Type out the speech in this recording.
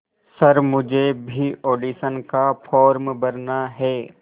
sir मुझे भी audition का फॉर्म भरना है